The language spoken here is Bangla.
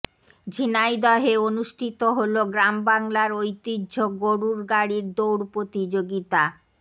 ঝিনাইদহে অনুষ্ঠিত হলো গ্রামবাংলার ঐতিহ্য গরুর গাড়ির দৌড় প্রতিযোগিতা